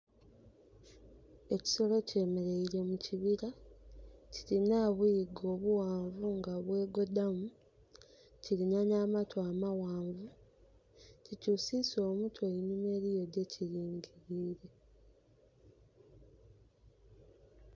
Ekisolo kyemereile mu kibira. Kirina obuyiga nga bughanvu nga bwegodamu. Kirina na amatu amaghanvu. Kikyusisa omutwe enhuma, eriyo kyekilingilire.